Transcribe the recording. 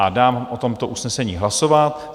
A dávám o tomto usnesení hlasovat.